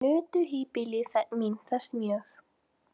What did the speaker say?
Nutu híbýli mín þess mjög.